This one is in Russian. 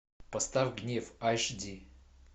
поставь гнев аш ди